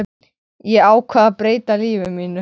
Ég ákvað að breyta lífi mínu.